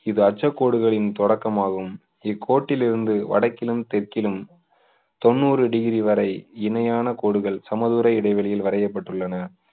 இது அச்சக்காடுகளின் தொடக்கம் ஆகும் கோட்டில் இருந்து வடக்கிலும் தெற்கிலும் தொண்ணூறு டிகிரி வரை இணையான கோடுகள் சமதூர இடைவெளியில் வரையப்பட்டுள்ளன